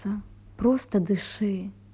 да просто дыши